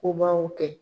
Kobaw kɛ